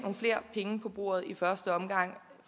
flere penge på bordet i første omgang